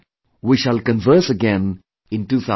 We shall converse again in 2018